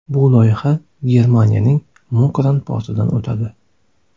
Bu loyiha esa Germaniyaning Mukran portidan o‘tadi.